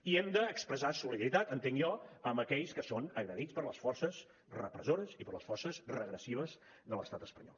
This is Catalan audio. i hem d’expressar solidaritat entenc jo amb aquells que són agredits per les forces repressores i per les forces regressives de l’estat espanyol